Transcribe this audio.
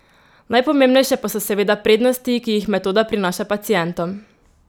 Najpomembnejše pa so seveda prednosti, ki jih metoda prinaša pacientom.